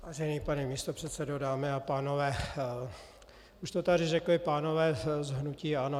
Vážený pane místopředsedo, dámy a pánové, už to tady řekli pánové z hnutí ANO.